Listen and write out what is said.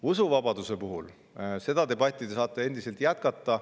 Usuvabaduse üle saate te debatti jätkata.